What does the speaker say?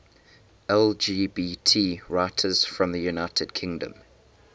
lgbt writers from the united kingdom